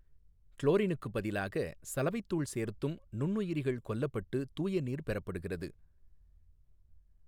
குளோாினுக்குப் பதிலாக சலவைத்தூள் சோ்த்தும் நுண்ணுயிாிகள் கொல்லப்பட்டு தூயநீா் பெறப்படுகிறது.